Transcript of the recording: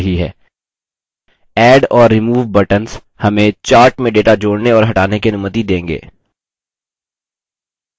add और remove buttons हमें chart में data जोड़ने और हटाने की अनुमति देंगे